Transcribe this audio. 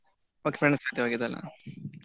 Okay friends ಜೊತೆ ಹೋಗಿದ್ ಅಲ್ಲ.